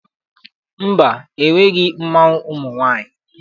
Mba, enweghị mmanwụ ụmụ nwaanyị.